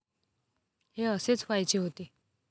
हे असेच व्हायचे होते